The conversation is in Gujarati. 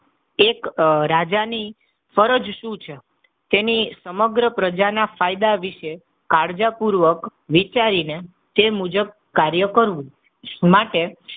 એક રાજાની ફરજ શું છે? તેની સમગ્ર પ્રજા ના ફાયદા વિશે કાળજા પૂર્વક વિચારીને તે મુજબ કાર્ય કરવું માટે,